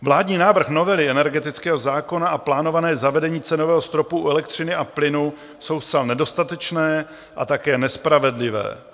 Vládní návrh novely energetického zákona a plánované zavedení cenového stropu u elektřiny a plynu jsou zcela nedostatečné a také nespravedlivé.